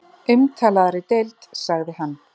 Umtalaðri deild sagði hann.